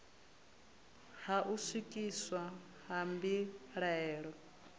ha u swikiswa ha mbilaelo